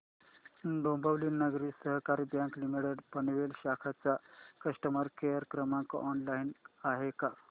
Dombivli Nagari Sahakari bank limited Panvel शाखा चा customer care क्रमांक ऑनलाइन आहे का